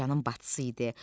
Bu qocanın bacısı idi.